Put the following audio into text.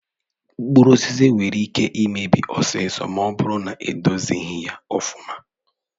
Mkpụrụ osisi nwere ike imebi ọsịsọ ma ọ bụrụ na edozighi ọfụma.